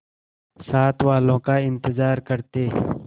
साथ वालों का इंतजार करते